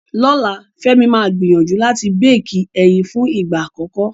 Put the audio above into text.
Lọ́la, Fẹ́mi máa gbìyànjú láti béékì ẹyin fún ìgbà àkọ́kọ́.